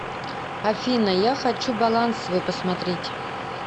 афина я хочу баланс свой посмотреть